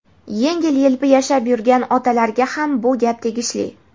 yengil-yelpi yashab yurgan otalarga ham bu gap tegishli.